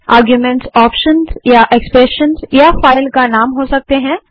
arguments options या expressions या file हो सकते हैं